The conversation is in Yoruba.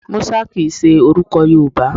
Musa kìn í ṣe orúkọ Yorùbá